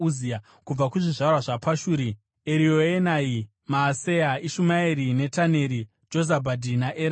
Kubva kuzvizvarwa zvaPashuri: Erioenai, Maaseya, Ishumaeri, Netaneri, Jozabhadhi naErasa.